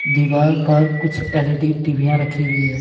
दीवार पर कुछ एल_ई_डी_ टिविया रखी हुई है।